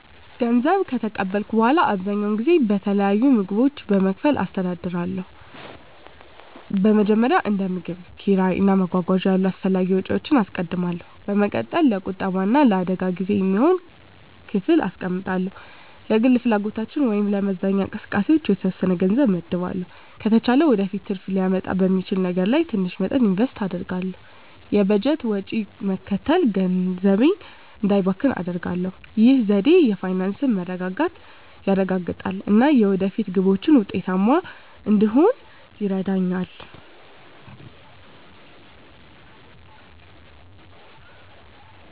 ገንዘብ ከተቀበልኩ በኋላ, አብዛኛውን ጊዜ በተለያዩ ምድቦች በመከፋፈል አስተዳድራለሁ. በመጀመሪያ፣ እንደ ምግብ፣ ኪራይ እና መጓጓዣ ያሉ አስፈላጊ ወጪዎችን አስቀድማለሁ። በመቀጠል፣ ለቁጠባ እና ለአደጋ ጊዜ የሚሆን ክፍል አስቀምጣለሁ። ለግል ፍላጎቶች ወይም ለመዝናኛ እንቅስቃሴዎች የተወሰነ ገንዘብ እመድባለሁ። ከተቻለ ወደፊት ትርፍ ሊያመጣ በሚችል ነገር ላይ ትንሽ መጠን ኢንቨስት አደርጋለሁ። የበጀት ወጪን መከተል ገንዘቤ እንዳይባክን አደርጋሁ። ይህ ዘዴ የፋይናንስ መረጋጋትን ያረጋግጣል እና የወደፊት ግቦችን ውጤታማ እንድሆን ይረዳኛል.